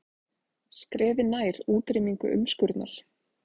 Skrefi nær útrýmingu umskurnar